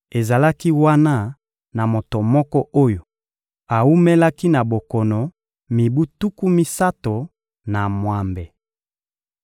Ezalaki wana na moto moko oyo awumelaki na bokono mibu tuku misato na mwambe.